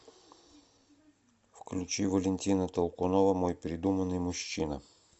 включи валентина толкунова мой придуманный мужчина